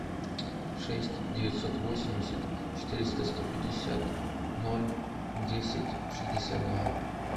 шесть девятьсот восемьдесят четыреста сто пятьдесят ноль десять шестьдесят два